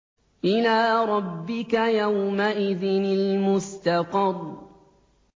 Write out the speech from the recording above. إِلَىٰ رَبِّكَ يَوْمَئِذٍ الْمُسْتَقَرُّ